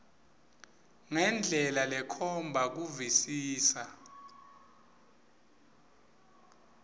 ngendlela lekhomba kuvisisa